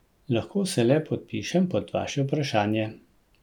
Običajno so ob petkih skupaj kosili.